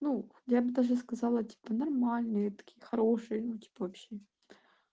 ну я бы даже сказала типа нормальные такие хорошие ну типа вообще